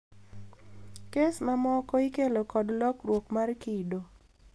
Kes mamoko ikelo kod lokruok mar kido.